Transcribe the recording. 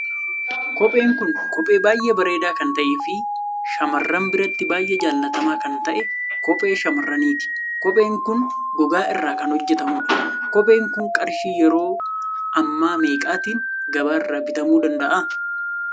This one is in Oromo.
Kopheen Kun kophee baay'ee bareeda kan ta'e fi shamarran biratti baay'ee jaallatamaa kan ta'e kophee shamarraniiti. Kopheen Kun gogaa irra kan hojjetamudha. Kophee Kun qarshii yeroo ammaameeqaatiin gabaarra bitamuu danda'a?